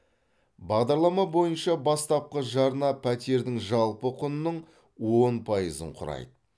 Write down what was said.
бағдарлама бойынша бастапқы жарна пәтердің жалпы құнының он пайызын құрайды